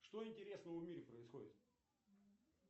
что интересного в мире происходит